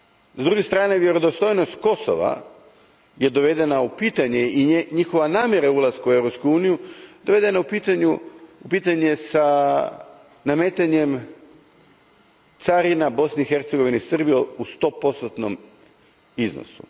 S druge strane, vjerodostojnost Kosova dovedena je u pitanje i njihova namjera ulaska u Europsku uniju dovedena je u pitanje s nametanjem carina Bosni i Hercegovini i Srbiji u stopostotnom iznosu.